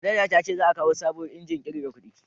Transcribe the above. Manaja ta ce za a kawo sabuwar injin kirga kudi